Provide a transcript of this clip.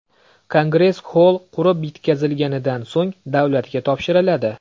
Kongress xoll qurib bitkazilganidan so‘ng davlatga topshiriladi.